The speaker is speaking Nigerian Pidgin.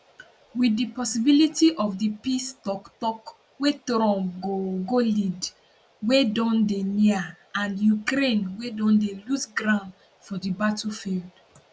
wit di possibility of di peace toktok wey trump go go lead wey don dey near and ukraine wey don dey lose ground for di battlefield